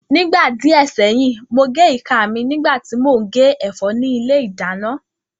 Nígbà díẹ̀ sẹ́yìn, mo gé ìka mi nígbà tí mò ń gé ẹ̀fọ́ ní ilé ìdáná